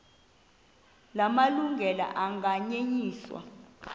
la malungelo anganyenyiswa